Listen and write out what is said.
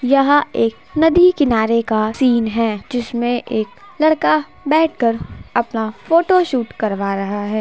यहाँ एक नदी किनारे का सीन है जिसमें एक लड़का बैठ कर अपना फोटोशूट करवा रहा है।